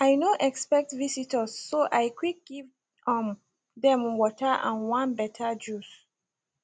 i no expect visitors so i quick give um dem water and one better juice